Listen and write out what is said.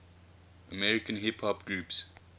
american hip hop groups